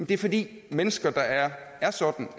det er fordi mennesker der er er sådan